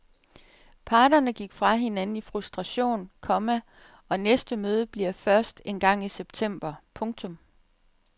Parterne gik fra hinanden i frustration, komma og næste møde bliver først engang i september. punktum